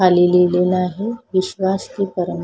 खाली लिहिलेलं आहे विश्वास ते परं--